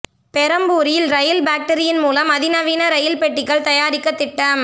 பெரம்பூரில் rail பாக்டரியின் மூலம் அதி நவீன ரயில் பெட்டிகள் தயாரிக்க திட்டம்